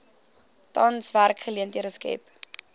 tans werksgeleenthede skep